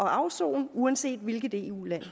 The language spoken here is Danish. at afsone uanset hvilket eu land det